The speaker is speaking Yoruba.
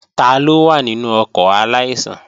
Taló wà nínú ọkọ̀ aláìsàn?